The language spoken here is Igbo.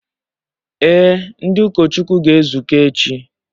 Ee, ndị ụkọchukwu ga-ezukọ echi